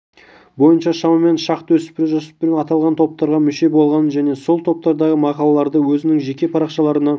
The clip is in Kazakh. бойынша шамамен шақты жасөспірім аталған топтарға мүше болғаны және сол топтардағы мақалаларды өзінің жеке парақшаларына